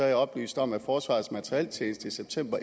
jeg oplyst om at forsvarets materieltjeneste i september